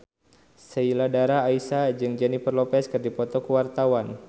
Sheila Dara Aisha jeung Jennifer Lopez keur dipoto ku wartawan